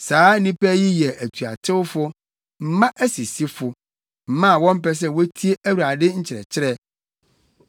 Saa nnipa yi yɛ atuatewfo, mma asisifo, mma a wɔmpɛ sɛ wotie Awurade nkyerɛkyerɛ.